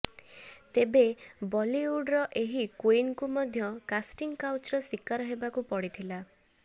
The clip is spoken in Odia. ତେବେ ବଲିଉଡର ଏହି କୁଇନଙ୍କୁ ମଧ୍ୟ କାଷ୍ଟିଂ କାଉଚର ଶିକାର ହେବାକୁ ପଡିଥିଲା